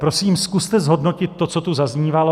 Prosím, zkuste zhodnotit to, co tu zaznívalo.